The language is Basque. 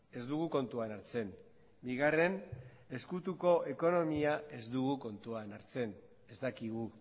ez dugu kontuan hartzen bigarren ezkutuko ekonomia ez dugu kontuan hartzen ez dakigu